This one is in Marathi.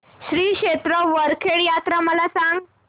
श्री क्षेत्र वरखेड यात्रा मला सांग